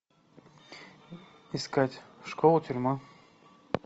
искать школа тюрьма